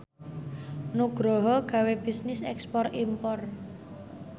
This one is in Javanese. Nugroho gawe bisnis ekspor impor